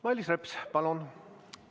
Mailis Reps, palun!